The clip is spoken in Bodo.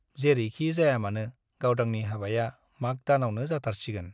जेरैखि जायामानो गावदांनि हाबाया माघ दानावनो जाथारसिगोन ।